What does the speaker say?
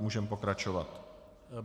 Můžeme pokračovat.